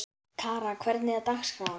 Kara, hvernig er dagskráin?